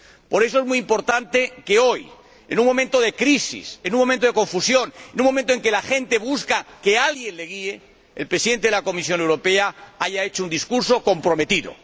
Por eso, es muy importante que hoy, en un momento de crisis, en un momento de confusión, en un momento en que la gente pide que alguien la guíe, el Presidente de la Comisión Europea haya pronunciado un discurso comprometido.